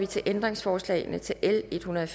til ændringsforslagene til l en hundrede og